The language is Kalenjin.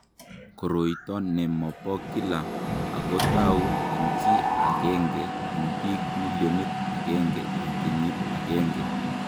Koroito ne mo bo kila ako tau eng chi agenge eng bik milionit agenge eng kenyit agenge.